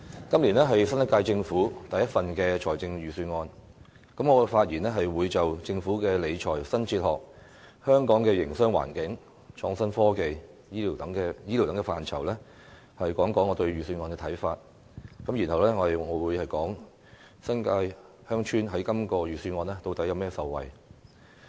今年的預算案是新一屆政府第一份預算案，我在發言中會就政府的理財新哲學、香港的營商環境、創新科技及醫療等範疇，談談我對預算案的看法，然後我會談談新界鄉村在這份預算案中能有甚麼受惠。